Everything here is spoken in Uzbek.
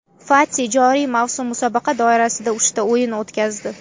Fati joriy mavsum musobaqa doirasida uchta o‘yin o‘tkazdi.